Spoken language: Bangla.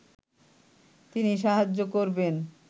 তিনি সাহায্য করবেন